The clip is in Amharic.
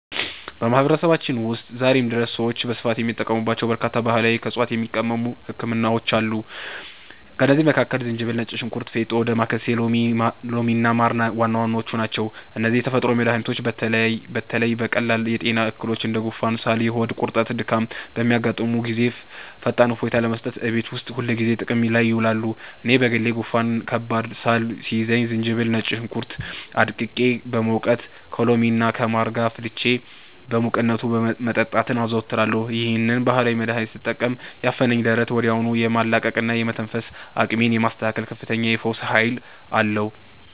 በማህበረሰባችን ውስጥ ዛሬም ድረስ ሰዎች በስፋት የሚጠቀሙባቸው በርካታ ባህላዊና ከዕፅዋት የሚቀመሙ ህክምናዎች አሉ። ከእነዚህም መካከል ዝንጅብል፣ ነጭ ሽንኩርት፣ ፌጦ፣ ዳማከሴ፣ ሎሚና ማር ዋና ዋናዎቹ ናቸው። እነዚህ ተፈጥሯዊ መድኃኒቶች በተለይ በቀላል የጤና እክሎች እንደ ጉንፋን፣ ሳል፣ የሆድ ቁርጠትና ድካም በሚያጋጥሙን ጊዜ ፈጣን እፎይታ ለመስጠት እቤት ውስጥ ሁልጊዜ ጥቅም ላይ ይውላሉ። እኔ በግሌ ጉንፋንና ከባድ ሳል ሲይዘኝ ዝንጅብልና ነጭ ሽንኩርት አድቅቄ በመውቀጥ፣ ከሎሚና ከማር ጋር አፍልቼ በሙቅነቱ መጠጣትን አዘወትራለሁ። ይህንን ባህላዊ መድኃኒት ስጠቀም ያፈነኝን ደረት ወዲያውኑ የማቅለልና የመተንፈስ አቅሜን የማስተካከል ከፍተኛ የፈውስ ኃይል አለው።